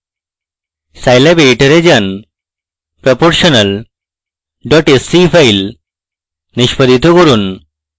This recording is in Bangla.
scilab editor এ যান proportional sce file নিষ্পাদিত করুন